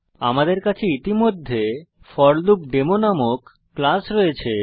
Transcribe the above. আমাদের কাছে ইতিমধ্যে ফরলুপডেমো নামক ক্লাস রয়েছে